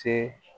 Te